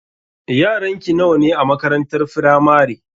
Yaranki nawa ne a makarantar firamare?